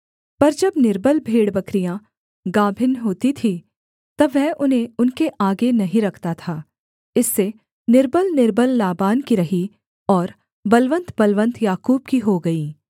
पर जब निर्बल भेड़बकरियाँ गाभिन होती थी तब वह उन्हें उनके आगे नहीं रखता था इससे निर्बलनिर्बल लाबान की रहीं और बलवन्तबलवन्त याकूब की हो गईं